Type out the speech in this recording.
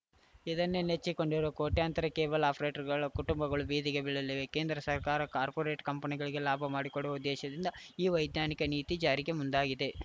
ಇದನ್ನೇ ನೆಚ್ಚಿಕೊಂಡಿರುವ ಕೋಟ್ಯಂತರ ಕೇಬಲ್‌ ಆಪರೇಟರ್‌ಗಳ ಕುಟುಂಬಗಳು ಬೀದಿಗೆ ಬೀಳಲಿವೆ ಕೇಂದ್ರ ಸರ್ಕಾರ ಕಾರ್ಪೊರೇಟ್‌ ಕಂಪನಿಗಳಿಗೆ ಲಾಭ ಮಾಡಿಕೊಡುವ ಉದ್ದೇಶದಿಂದ ಈ ವೈಜಾನಿಕ ನೀತಿ ಜಾರಿಗೆ ಮುಂದಾಗಿದೆ